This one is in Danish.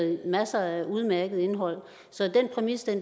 masser af udmærket indhold så den præmis